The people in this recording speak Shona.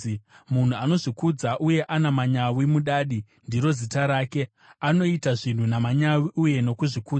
Munhu anozvikudza uye ana manyawi “Mudadi” ndiro zita rake; anoita zvinhu namanyawi uye nokuzvikudza.